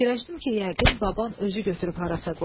Fikirləşdim ki, yəqin baban özü götürüb harasa qoyub.